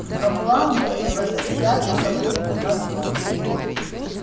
но главное не возвращаться б на зону